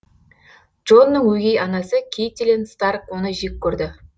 джонның өгей анасы кейтилин старк оны жек көрді